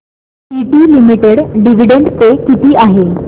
TT limited dividend pay किती आहे